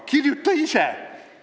Kirjuta ise!